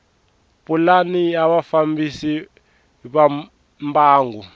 pulani ya vafambisi va mbangu